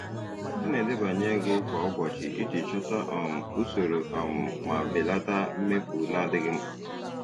Ha na-edebanye ego kwa ụbọchị iji chọta um usoro um ma belata mmefu na-adịghị mkpa.